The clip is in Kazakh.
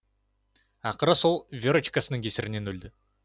ақыры сол верочкасының кесірінен өлді